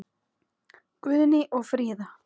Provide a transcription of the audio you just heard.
Guðný og Fríða.